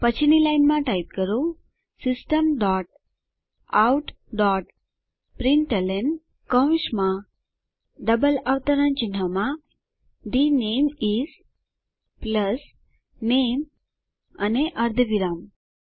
પછીની લાઈનમાં ટાઈપ કરો system dot out dot println કૌંસમાં ડબલ અવતરણ ચિહ્નમાં the name is plus name અને અર્ધવિરામ